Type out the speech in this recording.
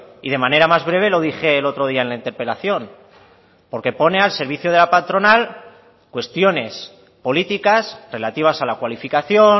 y de manera más breve lo dije el otro día en la interpelación porque pone al servicio de la patronal cuestiones políticas relativas a la cualificación